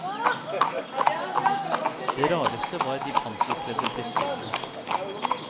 Det rareste var de panserkledde brystfinnene.